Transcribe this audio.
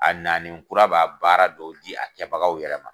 A nannen kura b'a baara dɔw di, a kɛbagaw yɛrɛ ma.